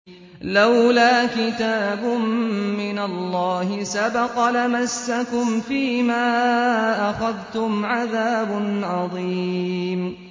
لَّوْلَا كِتَابٌ مِّنَ اللَّهِ سَبَقَ لَمَسَّكُمْ فِيمَا أَخَذْتُمْ عَذَابٌ عَظِيمٌ